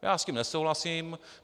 Já s tím nesouhlasím.